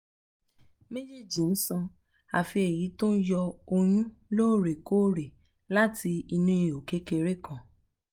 méjèèjì san àfí èyí tó ń yọ ọyún lóòrè kóòrè láti inú ihò kékeré kan